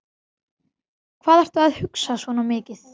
Hvað ertu að hugsa svona mikið?